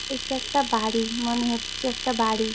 এটা একটা বাড়ি মনে হচ্ছে একটা বাড়ি ।